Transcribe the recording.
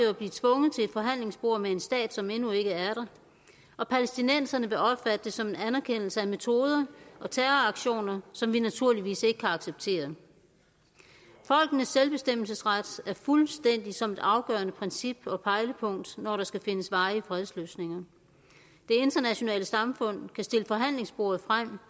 at blive tvunget til et forhandlingsbord med en stat som endnu ikke er der og palæstinenserne vil opfatte det som en anerkendelse af metoder og terroraktioner som vi naturligvis ikke kan acceptere folkenes selvbestemmelsesret er fuldstændig som et afgørende princip og pejlepunkt når der skal findes varige fredsløsninger det internationale samfund kan stille forhandlingsbordet frem